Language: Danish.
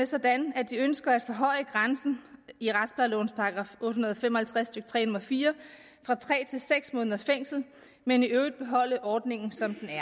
sådan at de ønsker at forhøje grænsen i retsplejelovens § otte hundrede og fem og halvtreds stykke tre nummer fire fra tre til seks måneders fængsel men i øvrigt beholde ordningen